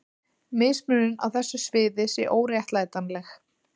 mismunun á þessu sviði sé óréttlætanleg